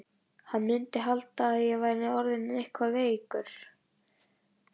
Hann mundi halda að ég væri orðinn eitthvað veikur.